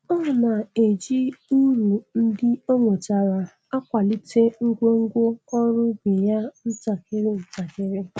Ọ na-eji uru ndị o nwetara akwalite ngwongwo ọrụ ubi ya ntakịrị ntakịrị.